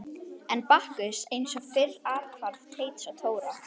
Enn er Bakkus eins og fyrr athvarf Teits og Dóra.